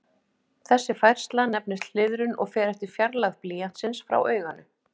Þessi færsla nefnist hliðrun og fer eftir fjarlægð blýantsins frá auganu.